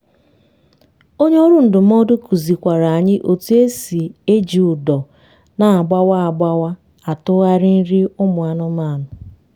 onye ọrụ ndụmọdụ kuzi kwara anyi otu esi eji ụdọ na agbawa agbawa atụgharị nri ụmụ anụmanụ